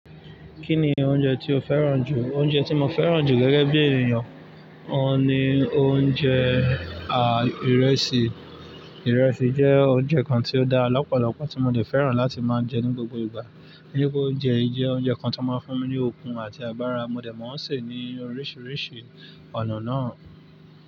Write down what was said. Kí ni oúnjẹ tí o fẹ́ràn jù? Oúnjẹ tí mo fẹ́ràn jù gẹ́gẹ́ bí ènìyàn, ọ́ ni oúnjẹ, à, ìrẹsì. Ìrẹsì jẹ́ oúnjẹ kan tí ó dá lọ́pọ̀lọ́pọ̀ tí mo dè fẹ́ràn láti máa jẹ ní gbogbo ìgbà. Irú oúnjẹ yí jẹ́ oúnjẹ kan tó máa ń fún mi ní okun àti agbára, mo dè mọ̀ọ́ sè ní oríṣiríṣi ọ̀nà náà.